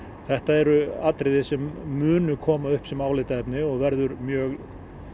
þetta eru atriði sem munu koma upp sem álitaefni og verður mjög